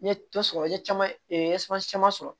N ye dɔ sɔrɔ n ye caman caman sɔrɔ